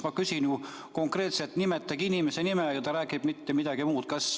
Ma küsin konkreetselt, et nimetage inimese nimi, aga ta räägib midagi muud.